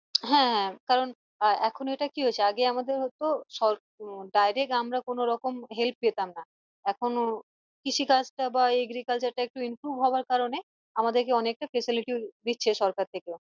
হ্যাঁ কারন এখন এটা কি হয়েছে আগে আমাদের হত সরকার উম direct আমরা কোনো help পেতাম না এখনও কৃষি কাজটা বা agriculture টা একটু improve হওয়ার কারনে আমাদের কে অনেকটা facility ও দিচ্ছে সরকার থেকেও